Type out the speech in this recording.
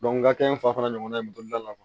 n ka kɛ n fa fana ɲɔgɔnna ye moto bolila